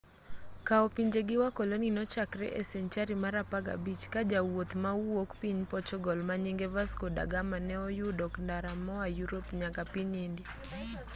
kao pinje gi wakoloni nochakre e senchari mar apagabich ka jawuoth mawuok piny portugal manyinge vasco da gama ne oyudo ndara moa yurop nyaka piny india